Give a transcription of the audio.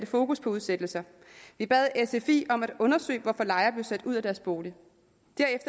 fokus på udsættelser vi bad sfi om at undersøge hvorfor lejere blev sat ud af deres bolig